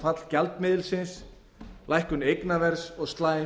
fall gjaldmiðilsins lækkun eignaverðs og slæm